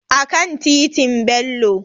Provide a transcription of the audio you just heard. A kan titin Bello